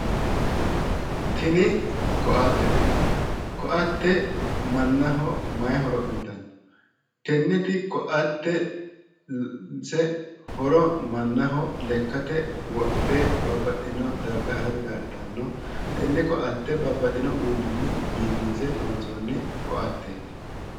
Tini koattete koate mannaho maayi horo Uuyitanno? Tenne koatteti horose manaho lekate wodhe Babaxino darga harate kaa'litanno tenne Koate babaxino uduunini bifinse loonsooni Koatteet